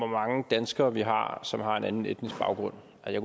mange danskere vi har som har en anden etnisk baggrund jeg